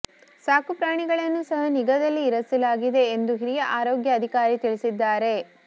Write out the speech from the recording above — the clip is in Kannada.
ಸಾಕುಪ್ರಾಣಿಗಳನ್ನು ಸಹ ನಿಗಾದಲ್ಲಿ ಇರಿಸಲಾಗಿದೆ ಎಂದು ಹಿರಿಯ ಆರೋಗ್ಯ ಅಧಿಕಾರಿ ತಿಳಿಸಿದ್ದಾರೆ